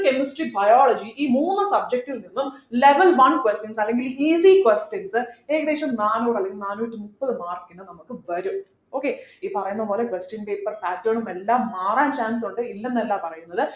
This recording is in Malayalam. chemistry biology ഈ മൂന്ന് subject ൽ നിന്നും level one questions അല്ലെങ്കിൽ easy questions ഏകദേശം നാനൂറു അല്ലെങ്കിൽ നാനൂറ്റി മുപ്പത് mark നു നമുക്ക് വരും okay ഈ പറയുന്ന പോലെ question paper pattern ഉം എല്ലാം മാറാൻ chance ഉണ്ട് ഇല്ലെന്നല്ല പറയുന്നത്